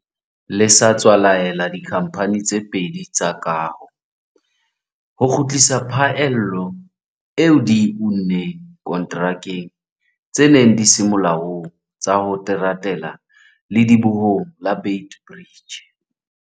le sa tswa laela dikhamphane tse pedi tsa kaho ho kgutlisa phaello eo di e unneng konterakeng tse neng di se molaong tsa ho teratela ledibohong la Beit Bridge.